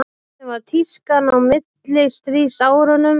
hvernig var tískan á millistríðsárunum